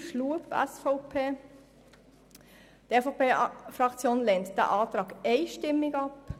Schlup/SVP: Die EVP-Fraktion lehnt diesen Antrag einstimmig ab.